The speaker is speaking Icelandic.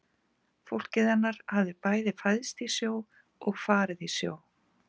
Fólkið hennar hafði bæði fæðst í sjó og farið í sjó.